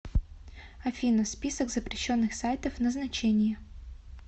афина список запрещенных сайтов назначение